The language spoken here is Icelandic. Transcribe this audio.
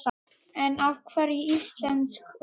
En af hverju íslensk ull?